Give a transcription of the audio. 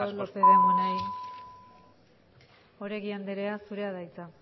lópez de munain oregi anderea zurea da hitza